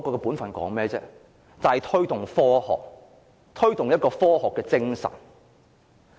便是推動科學、推動科學精神。